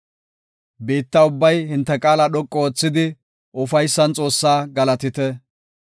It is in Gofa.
Biitta ubbay hinte qaala dhoqu oothidi, ufaysan Xoossaa galatite.